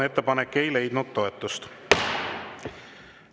Ettepanek ei leidnud toetust.